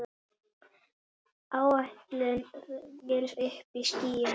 Áætluð vél uppí skýjum.